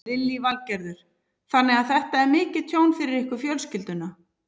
Lillý Valgerður: Þannig að þetta er mikið tjón fyrir ykkur fjölskylduna?